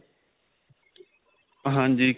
ਹਾਂਜੀ